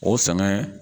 O sɛnɛ